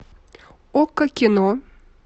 окко кино